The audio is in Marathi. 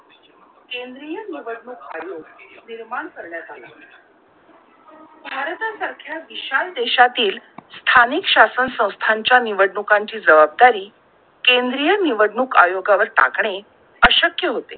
भारता सारख्या विशाल देशातील स्थानिक शासन संस्थांच्या निवडणुकांची जवाबदारी केंद्रीय निवडणूक आयोगा वर टाकणे अशक्य होते